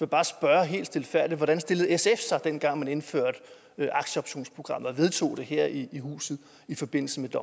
bare spørge helt stilfærdigt hvordan sf stillede sig dengang man indførte aktieoptionsprogrammet og vedtog det her i huset i forbindelse med